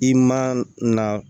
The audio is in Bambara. I man na